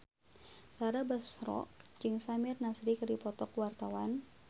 Tara Basro jeung Samir Nasri keur dipoto ku wartawan